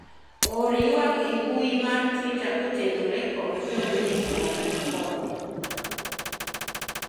or ywak e mbui mar twita kotenore kod jo munispol ma korwa